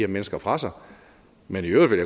mennesker fra sig men i øvrigt vil